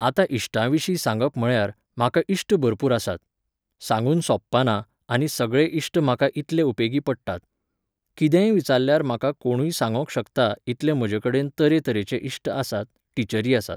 आतां इश्टा विशीं सांगप म्हळ्यार, म्हाका इश्ट भरपूर आसात. सांगून सोंपपाना, आनी सगळे इश्ट म्हाका इतले उपेगी पडटात. कितेंय विचारल्यार म्हाका कोणूय सांगोंक शकता इतले म्हजे कडेन तरे तरेचे इश्ट आसात, टिचरी आसात.